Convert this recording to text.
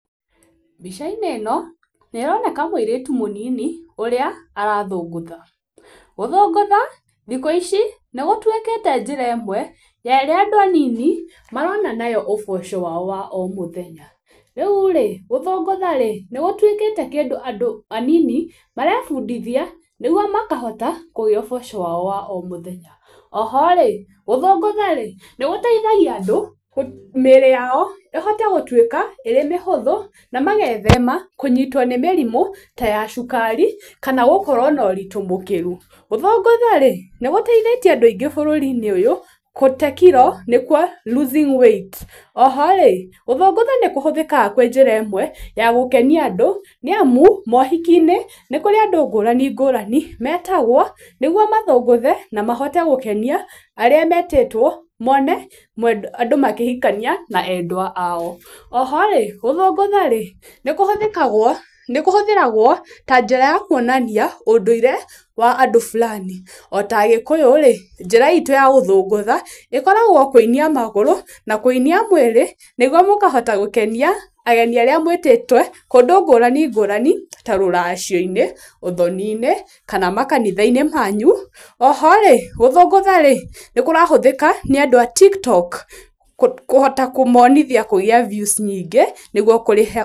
Mbica-inĩ ĩno nĩ ĩróneka mũirĩtu mũnini ũrĩa arathũngũtha, gũthũngũtha thikũ ici nĩgũtũĩkĩte njĩra ĩmwe ya arĩa andũ anini marona nayo ũboco wao wa o mũthenya. Rĩu rĩ gũthũngũtha rĩ, nĩ gũtũĩkĩte kĩndũ andũ anini marebundithia nĩgwo makahota kũgĩa ũboco wao wa o mũthenya. Oho rĩ gũthũngũtha rĩ, nĩ gũtheithagia andũ mĩĩrĩ yao ĩhote gũtũĩka ĩrĩ mĩhũthu na magethema kũnyitwo nĩ mĩrimũ ta ya cukari kana gũkorwo na ũritũ mũkĩru. Gũthũngũtha rĩ nĩgũteithĩtie andũ aingĩ bũrũri-inĩ ũyũ gũte kiro nĩkũo loosing weight. Oho rĩ, gũthũngũtha nĩkũhũthĩkaga kwĩ njĩra ĩmwe ya gũkenia andũ nĩamu mohiki-inĩ nĩkũrĩ andũ ngũrani ngũrani metagwo nĩgũo mathũngũthe na mahote gũkenia arĩa metĩtwo mone andũ makĩhikania na endwa ao. Oho rĩ gũthũngũtha rĩ, nĩ kũhũthĩkagwo, nĩ kũhũthĩragwo ta njĩra ya kũonania ũndũire wa andũ fulani ota agĩkũyu-rĩ njĩra itũ ya gũthũngũtha ĩkoragwo kũinĩa magũrũ na kũinia mwĩrĩ nĩgũo mũkahota gũkenia ageni arĩa mũĩtĩte kũndũ ngũrani ngũrani ta rũracio-inĩ, ũthoni-inĩ kana makanitha-inĩ manyu, oho rĩ gũthũngũtha rĩ, nĩ kũrahũthĩka nĩ andũ a TikTok kũhota kũmonithia kũgía views nyingĩ nĩgũo kũrĩha.